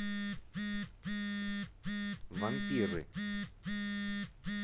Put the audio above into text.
вампиры